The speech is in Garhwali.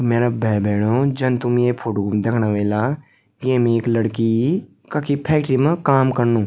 मेरा भाई-भेणाे जन तुम ये फोटो म दिखणा वेला की येम एक लड़की कखी फैक्ट्री मा काम कनु।